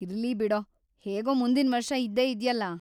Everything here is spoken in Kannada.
ಇರ್ಲಿ ಬಿಡೋ, ಹೇಗೂ ಮುಂದಿನ್ವರ್ಷ ಇದ್ದೇ ಇದ್ಯಲ್ಲ.